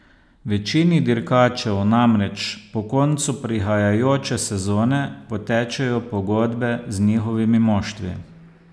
Večini dirkačev namreč po koncu prihajajoče sezone potečejo pogodbe z njihovimi moštvi.